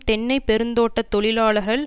தென்னை பெருந்தோட்ட தொழிலாளர்கள்